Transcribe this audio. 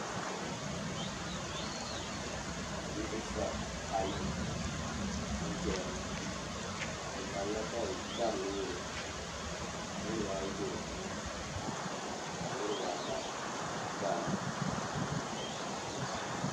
Bidibisi ayi ʒɛya ŋɔ bɛ malila dari lɔɔri niribi ayi be dipuuni ka niribi ata daara,